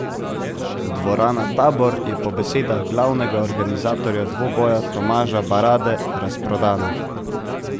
Dvorana Tabor je po besedah glavnega organizatorja dvoboja Tomaža Barade razprodana.